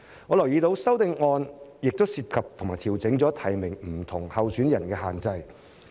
我留意到修正案亦涉及調整提名不同候選人的限制。